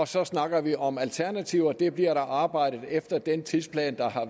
så snakker vi om alternativer og det bliver der arbejdet på efter den tidsplan